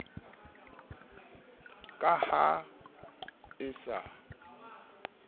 ya ka ha e sa